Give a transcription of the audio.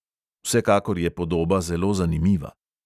Vsekakor je podoba zelo zanimiva.